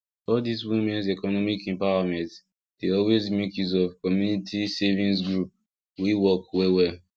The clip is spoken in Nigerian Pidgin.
all this womens economic empowerment dey always make use of community savings group wey work well well